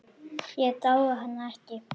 Ég dái hana ekki.